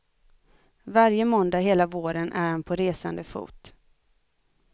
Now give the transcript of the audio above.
Varje måndag hela våren är han på resande fot.